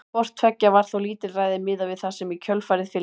Hvort tveggja var þó lítilræði miðað við það sem í kjölfarið fylgdi.